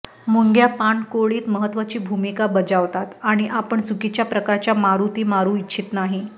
मुंग्या पाणकोळीत महत्त्वाची भूमिका बजावतात आणि आपण चुकीच्या प्रकारच्या मारुती मारू इच्छित नाही